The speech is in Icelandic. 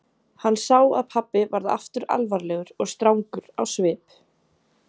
Hann sá að pabbi varð aftur alvarlegur og strangur á svip.